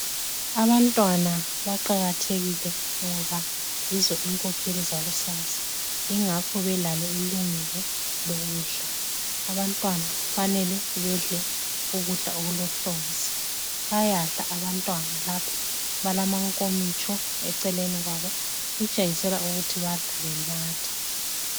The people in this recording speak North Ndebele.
Abantwana baqakathekile ngoba yizo inkokheli zakusasa yingakho belalo ilungelo lokudla abantwana kufanele bedle ukudla okulohlonzi bayadla abantwana lapha balamankomitsho eceleni kwabo okutshengisela ukuthi badla benatha.